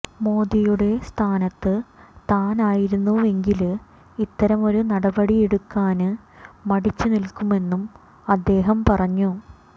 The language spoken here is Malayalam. മോദിയുടെ സ്ഥാനത്ത് താനായിരുന്നുവെങ്കില് ഇത്തരമൊരു നടപടിയെടുക്കാന് മടിച്ചു നില്ക്കുമെന്നും അദ്ദേഹം പറഞ്ഞു